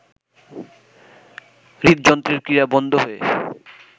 হৃদযন্ত্রের ক্রিয়া বন্ধ হয়ে